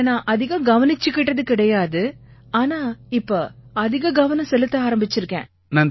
என்னை நான் அதிகம் கவனிச்சுக்கிட்டது கிடையாது ஆனா இப்ப அதிக கவனம் செலுத்த ஆரம்பிச்சிருக்கேன்